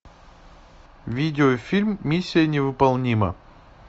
видеофильм миссия невыполнима